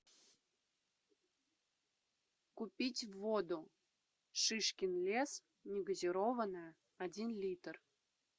купить воду шишкин лес негазированная один литр